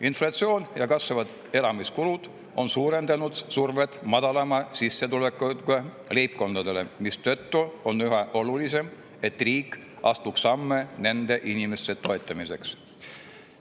Inflatsioon ja kasvavad elamiskulud on suurendanud survet madalama sissetulekuga leibkondadele, mistõttu on üha olulisem, et riik astuks samme nende inimeste toetamiseks.